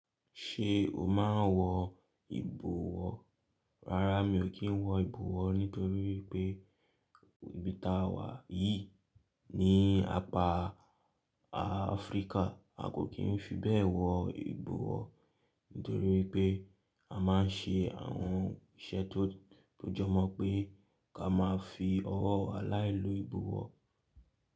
Ṣé o máa ń wọ ìbọwọ́? Rárá mi ò kí ń wọ ìbọwọ́ nítorí pé ibi táa wà yìí ní apá Áfríkà a kò kí ń fi bẹ́ẹ̀ wọ ìbọwọ́ nítorí pé a máa ń ṣe àwọn iṣẹ́ tó jọ mọ́ pé ká máa fi ọwọ́ wa láì lo ìbọwọ́